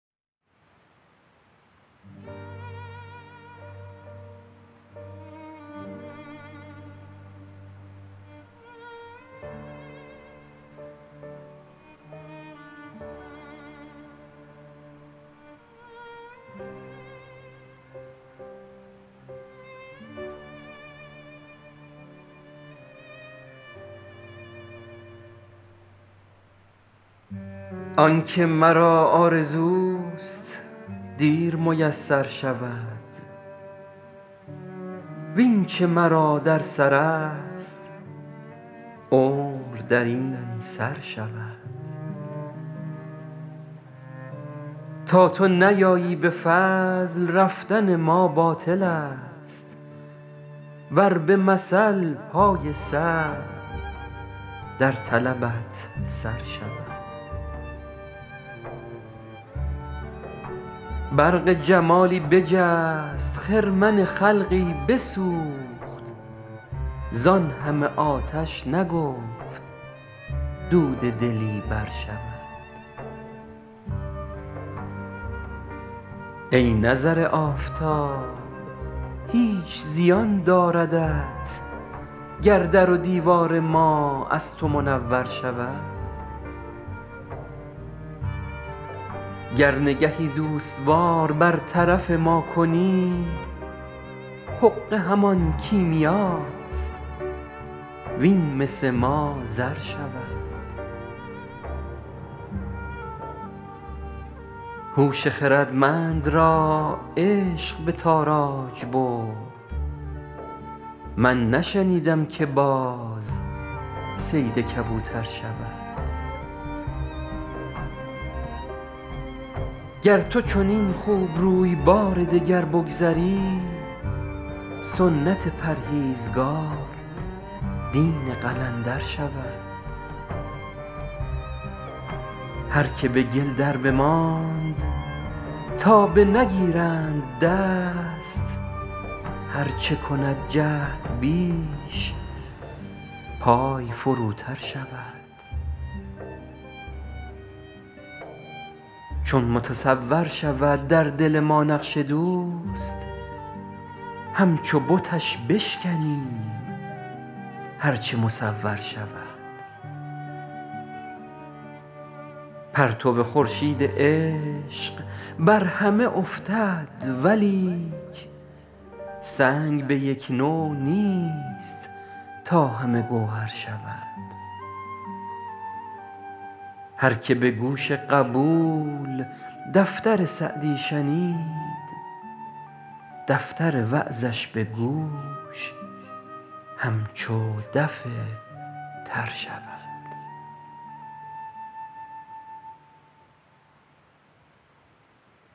آن که مرا آرزوست دیر میسر شود وین چه مرا در سرست عمر در این سر شود تا تو نیایی به فضل رفتن ما باطلست ور به مثل پای سعی در طلبت سر شود برق جمالی بجست خرمن خلقی بسوخت زان همه آتش نگفت دود دلی برشود ای نظر آفتاب هیچ زیان داردت گر در و دیوار ما از تو منور شود گر نگهی دوست وار بر طرف ما کنی حقه همان کیمیاست وین مس ما زر شود هوش خردمند را عشق به تاراج برد من نشنیدم که باز صید کبوتر شود گر تو چنین خوبروی بار دگر بگذری سنت پرهیزگار دین قلندر شود هر که به گل دربماند تا بنگیرند دست هر چه کند جهد بیش پای فروتر شود چون متصور شود در دل ما نقش دوست همچو بتش بشکنیم هر چه مصور شود پرتو خورشید عشق بر همه افتد ولیک سنگ به یک نوع نیست تا همه گوهر شود هر که به گوش قبول دفتر سعدی شنید دفتر وعظش به گوش همچو دف تر شود